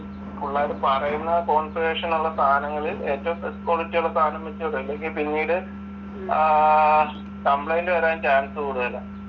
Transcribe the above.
പുള്ളാര് പറയുന്ന കോൺഫിഗേഷൻ ഉള്ള സാധനങ്ങള് ഏറ്റവും ബെസ്ററ് ക്വാളിറ്റി ഉള്ള സാധനം വെച്ച് വിടും. ഇല്ലങ്കിൽ പിന്നീട് ആഹ് കംപ്ലയിന്റ് വരാൻ ചാൻസ് കൂടുതലാ.